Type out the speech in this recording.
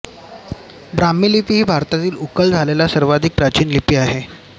ब्राम्ही लिपी ही भारतातील उकल झालेली सर्वाधिक प्राचीन लिपी आहे